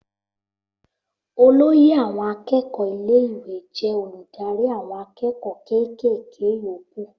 Olóyè àwọn akẹ́kọ̀ọ́ ilé ìwé jẹ́ olùdarí àwọn akẹ́kọ̀ọ́ ké ké ké yókù